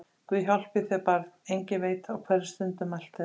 Guð hjálpi þér barn, enginn veit á hverri stundu mælt er!